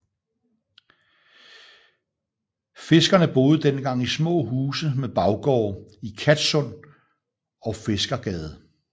Fiskerne boede dengang i små huse med baggårde i Kattsund og Fiskergade